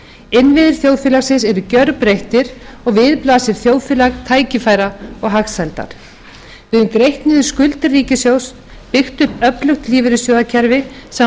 innviðir þjóðfélagsins eru gerbreyttir og við blasir þjóðfélag tækifæra og hagsældar við höfum greitt niður skuldir ríkissjóðs byggt upp öflugt lífeyrissjóðakerfi sem